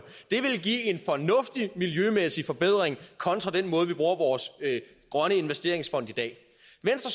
det ville give en fornuftig miljømæssig forbedring kontra den måde vi bruger vores grønne investeringsfond i det